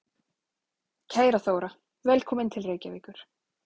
Kæra Þóra. Velkomin til Reykjavíkur.